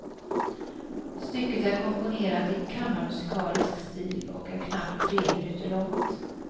Stycket är komponerat i kammarmusikalisk stil och är knappt tre minuter långt.